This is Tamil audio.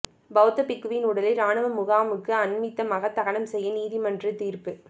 பெளத்த பிக்குவின் உடலை இராணுவ முகாமுக்கு அண்மித்தாக தகனம் செய்ய நீதிமன்று தீர்ப்பு